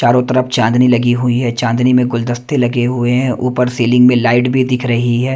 चारों तरफ चांदनी लगी हुई हैं चांदनी में गुलदस्ते लगे हुए है ऊपर सीलिंग में लाइट भी दिख रही है।